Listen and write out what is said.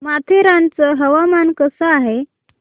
माथेरान चं हवामान कसं आहे